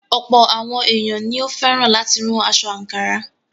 Ọ̀̀pọ̀ àwọn èèyàn ní ó fẹ́ràn láti rán aṣọ àǹkárá.